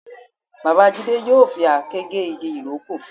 Bàbá Jídé yóò fi àáké gé igi ìrókò